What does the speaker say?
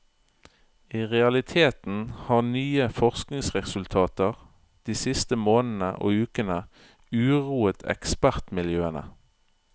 I realiteten har nye forskningsresultater de siste månedene og ukene, uroet ekspertmiljøene.